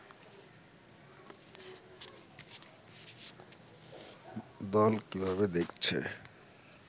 দল কিভাবে দেখছে